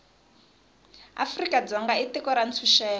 afrika dzonga i tiko ra ntshuxeko